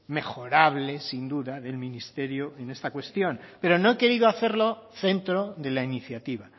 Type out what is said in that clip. mejorable sin duda del ministerio en esta cuestión pero no he querido hacerlo centro de la iniciativa